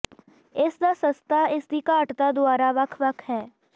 ਇਸ ਦਾ ਸਸਤਾ ਇਸ ਦੀ ਘਾਟਤਾ ਦੁਆਰਾ ਵੱਖ ਵੱਖ ਹੈ